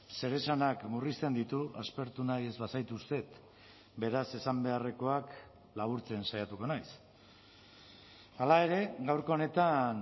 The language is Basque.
zeresanak murrizten ditu aspertu nahi ez bazaituztet beraz esan beharrekoak laburtzen saiatuko naiz hala ere gaurko honetan